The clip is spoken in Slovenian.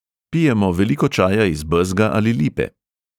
Pijemo veliko čaja iz bezga ali lipe.